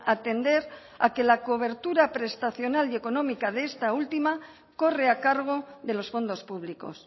atender a que la cobertura prestacional y económica de esta última corre a cargo de los fondos públicos